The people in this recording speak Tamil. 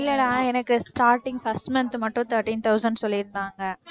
இல்லடா எனக்கு starting first month மட்டும் thirteen thousand சொல்லிருந்தாங்க